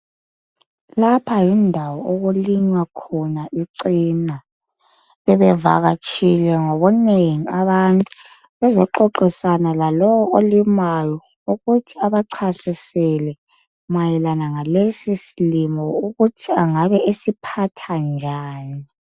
Lapha yindawo okulinywa khona ichena bebevakatshile ngobunengi abantu bezoxoxisana lalowo olimayo ukuthi abachasisele mayelana ngalesi silimo ukuthi angabe esiphatha njani